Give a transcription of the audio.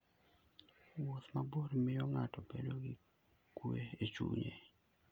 Wuoth mabor miyo ng'ato bedo gi kuwe e chunye.